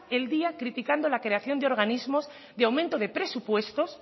el día criticando la creación de organismos de aumento de presupuestos